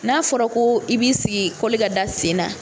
N'a fɔra ko i b'i sigi ka da sen na